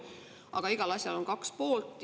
Aga igal asjal on kaks poolt.